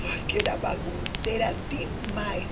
Porque era bagunceira demais.